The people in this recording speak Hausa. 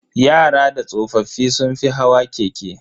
Yara da tsoffi sun fi hawa keke.